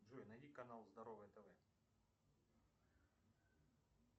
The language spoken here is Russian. джой найди канал здоровое тв